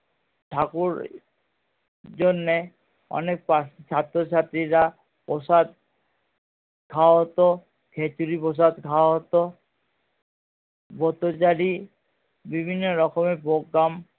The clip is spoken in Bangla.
ঠাকুর জন্যে অনেক ছাত্র ছাত্রীরা প্রসাদ খাওয়া হতো খেচুরি প্রসাদ খাওয়া হতো বোতচারী বিভিন্ন রকমের program